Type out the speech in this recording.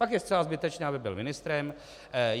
Pak je zcela zbytečné, aby byl ministrem.